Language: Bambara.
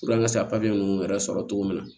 an ka se ka ninnu yɛrɛ sɔrɔ cogo min na